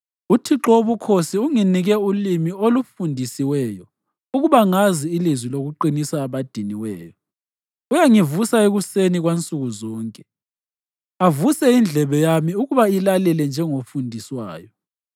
UThixo wobukhosi unginike ulimi olufundisiweyo ukuba ngazi ilizwi lokuqinisa abadiniweyo. Uyangivusa ekuseni kwansukuzonke, avuse indlebe yami ukuba ilalele njengofundiswayo.